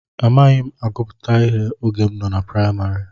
Amaghị m agụpụta ihe oge m nọ na praịmarị.